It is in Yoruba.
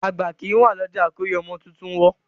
Àgbà kìí wá lọ́jà kórí ọmọ tuntun wọ́.